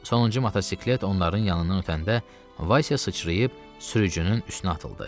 Sonuncu motosiklet onların yanından ötəndə Vasya sıçrayıb sürücünün üstünə atıldı.